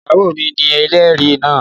Ìyàwó mi ni ẹlẹ́rìí náà